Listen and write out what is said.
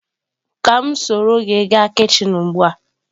Ka m soro gi gaa kichin ugbua?